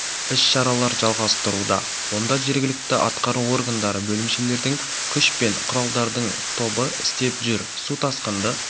іс-шаралар жалғастыруда онда жергілікті атқару органдары бөлімшелердің күш пен құралдардың тобы істеп жүр су тасқынды